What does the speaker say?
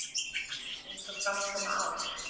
Eins og fram kom á